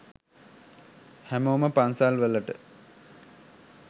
හැමෝම පන්සල් වලට